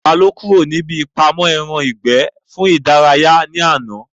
Ta ló kúrò níbi ìpamọ́ ẹran ìgbẹ́ fún ìdárayá ní àná?